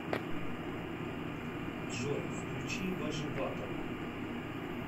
джой включи вожеватова